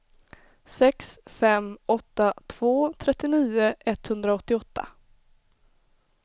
sex fem åtta två trettionio etthundraåttioåtta